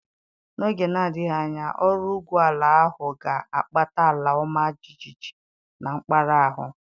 N'oge na-adịghị anya, ọrụ igwu ala ahụ ga-akpata ala ọma jijiji na mpaghara ahụ.